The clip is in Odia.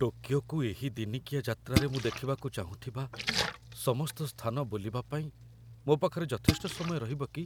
ଟୋକିଓକୁ ଏହି ଦିନିକିଆ ଯାତ୍ରାରେ ମୁଁ ଦେଖିବାକୁ ଚାହୁଁଥିବା ସମସ୍ତ ସ୍ଥାନ ବୁଲିବା ପାଇଁ ମୋ ପାଖରେ ଯଥେଷ୍ଟ ସମୟ ରହିବ କି?